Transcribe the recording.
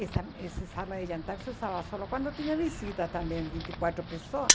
Essa essa sala de jantar se usava só quando tinha visitas também, vinte e quartro pessoas.